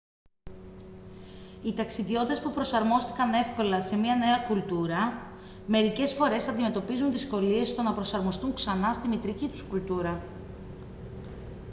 οι ταξιδιώτες που προσαρμόστηκαν εύκολα σε μια νέα κουλτούρα μερικές φορές αντιμετωπίζουν δυσκολίες στο να προσαρμοστούν ξανά στη μητρική τους κουλτούρα